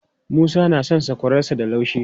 Musa na son sakwararsa da laushi.